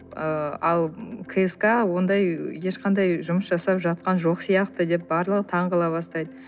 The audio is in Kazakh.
ыыы ал кск ондай ешқандай жұмыс жасап жатқан жоқ сияқты деп барлығы таңғала бастайды